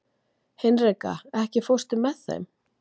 Hinrika, ekki fórstu með þeim?